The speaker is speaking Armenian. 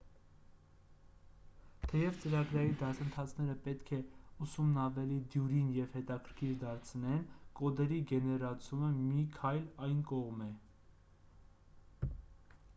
թեև ծրագրային դասընթացները պետք է ուսումն ավելի դյուրին և հետաքրքիր դարձնեն կոդերի գեներացումը մի քայլ այն կողմ է